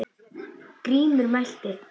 Grímur mælti